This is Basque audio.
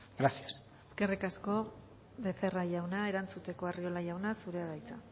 gracias eskerrik asko becerra jauna erantzuteko arriola jauna zurea da hitza